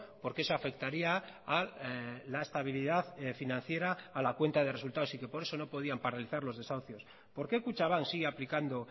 porque eso afectaría a la estabilidad financiera a la cuenta de resultados y que por eso no podían paralizar los desahucios por qué kutxabank sigue aplicando